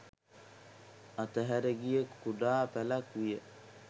අතහැර ගිය කුඩා පැළක් විය